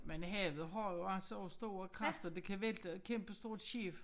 Men havet har jo altså også store kræfter det kan vælte et kæmpestort skib